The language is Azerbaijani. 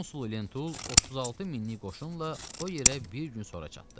Konsul Lentul 36 minlik qoşunla o yerə bir gün sonra çatdı.